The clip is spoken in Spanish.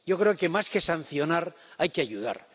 Yo creo que más que sancionar, hay que ayudar.